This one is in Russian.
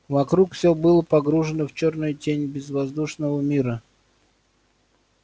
вокруг все было погружено в чёрную тень безвоздушного мира